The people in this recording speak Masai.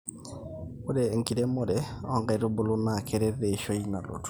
ore enkiremore onkaitubulu naa keret eishoi nalotu